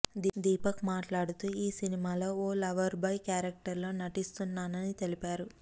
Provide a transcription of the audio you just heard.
దీపక్ మాట్లాడుతూ ఈ సినిమాలో ఓ లవర్ బాయ్ క్యారెక్టర్లో నటిస్తున్నానని తెలిపారు